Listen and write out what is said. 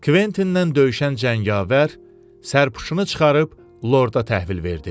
Kvetindən döyüşən cəngavər sərpşunu çıxarıb lorda təhvil verdi.